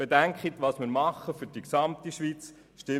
Bedenken Sie, was wir für die ganze Schweiz tun.